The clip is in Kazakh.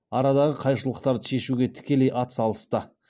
арадағы қайшылықтарды шеиіуге тікелей атсалысты